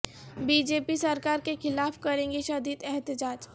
be J P سرکار کے خلاف کریں گے شدید احتجاج